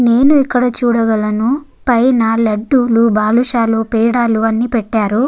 నేను ఇక్కడ చూడగలను పైన లడ్డూలు బాలుషాలు పీడాలు అన్నీ పెట్టారు.